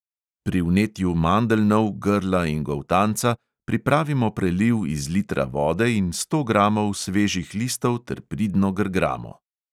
Pri vnetju mandeljnov, grla in goltanca pripravimo preliv iz litra vode in sto gramov svežih listov ter pridno grgramo.